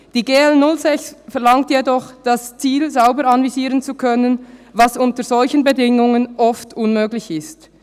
Die GL06 verlangt jedoch, das Ziel sauber anvisieren zu können, was unter solchen Bedingungen oft unmöglich ist.»